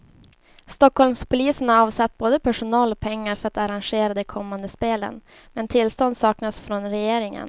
Stockholmspolisen har avsatt både personal och pengar för att arrangera de kommande spelen, men tillstånd saknas från regeringen.